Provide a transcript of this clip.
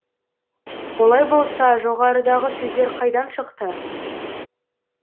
олай болса жоғарыдағы сөздер қайдан шықты